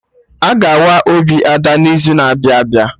Aga awa obi Ada n'izu na-abịa abịa